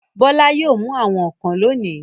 Bọ́lá yóò mú àwọn ọ̀kàn lónìí.